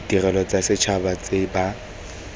ditirelo tsa setšhaba tse ba